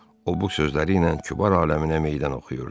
O bu sözləri ilə kübar aləminə meydan oxuyurdu.